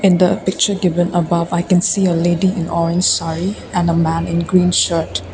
the picture given above i can see a lady on saree and the man in green shirt.